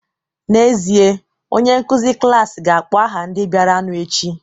N'ezie, onye nkụzi klas ga-akpọ aha ndị bịaranụ echi